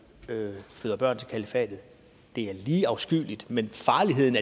føder børn til kalifatet det er lige afskyeligt men farligheden